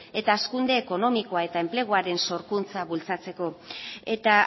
eta hazkunde ekonomikoa eta enpleguaren sorkuntza bultzatzeko eta